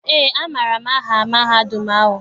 Eé, amaara m aha mahadum ahụ.